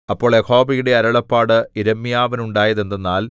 അപ്പോൾ യഹോവയുടെ അരുളപ്പാട് യിരെമ്യാവിനുണ്ടായതെന്തെന്നാൽ